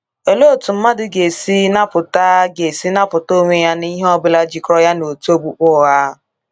Olee otú mmadụ ga-esi napụta ga-esi napụta onwe ya n’ihe ọ bụla jikọrọ ya na òtù okpukpe ụgha?